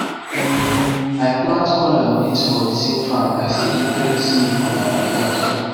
um i plant corn and beans for thesame farm i still dey train snail for my backyard too